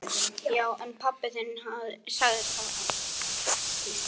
Þá kom eitthvert hik á hana.